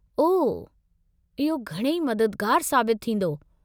ओह, इहो घणई मददुगारु साबितु थींदो।